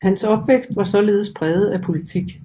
Hans opvækst var således præget af politik